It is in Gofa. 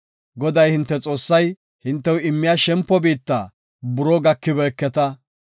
Goday, hinte Xoossay hintew immiya shempo biitta buroo gakibeketa.